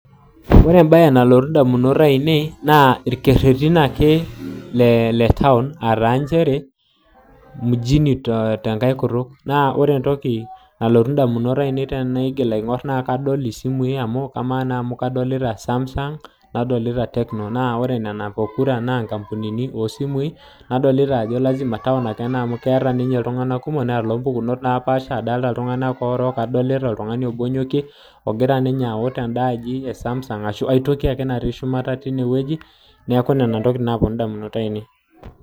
Ore embae nalotu indamunot ainei naa irkerretin ake le taon aa taa nchere, mini tenkae kutuk. Naa ore entoki nalotu indamunot ainei tenaigil aing'orr naa kadol isimui amu kamaa naa amu kadolita Samsung nadolita Tecno. Naa ore nena pokira naa nkampunini oosimui nadolita ajo lazima taon ake ena amu keeta ninye iltung'anak kumok, neeta iloompukunot napaasha. Adolita iltung'anak orook, adolita oltung'ani obo onyokie ogira ninye aut enda aji e Sam's ashu ai toki ake natii shumata teinewueji. Neeku nena intokiting naapwonu indamunot ainei